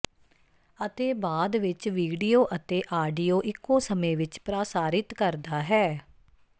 ਅਤੇ ਬਾਅਦ ਵਿੱਚ ਵੀਡੀਓ ਅਤੇ ਆਡੀਓ ਇੱਕੋ ਸਮੇਂ ਵਿੱਚ ਪ੍ਰਸਾਰਿਤ ਕਰਦਾ ਹੈ